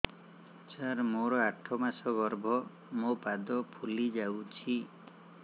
ସାର ମୋର ଆଠ ମାସ ଗର୍ଭ ମୋ ପାଦ ଫୁଲିଯାଉଛି